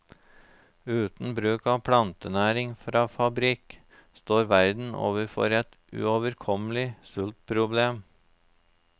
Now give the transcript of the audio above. Uten bruk av plantenæring fra fabrikk, står verden overfor et uoverkommelig sultproblem.